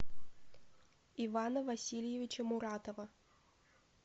ивана васильевича муратова